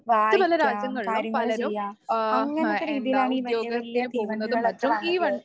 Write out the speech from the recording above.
വായിക്കാം, കാര്യങ്ങള് ചെയ്യാം അങ്ങനത്തെ രീതിയിലാണ് ഈ വലിയ വലിയ തീവണ്ടികളൊക്കെ വന്നിട്ടുള്ളത്.